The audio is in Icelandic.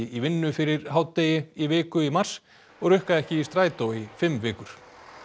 í vinnu fyrir hádegi í viku í mars og rukka ekki í strætó í fimm vikur